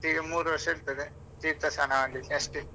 ಈಗ ಮೂರೂ ವರ್ಷ ಇರ್ತದೆ ತೀರ್ಥಸ್ಥಾನ ಮಾಡ್ಲಿಕ್ಕೆ ಅಷ್ಟೆ.